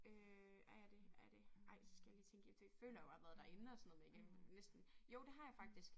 Øh er jeg det er jeg det ej så skal jeg lige tænke i det føler jeg jo har været derinde og sådan noget men jeg kan næsten jo det har jeg faktisk